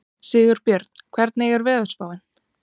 Sigurbjörn, hvernig er veðurspáin?